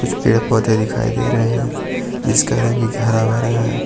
कुछ पेड़ पौधे दिखाई दे रहे हैं जिसका रंग हरा भरा है।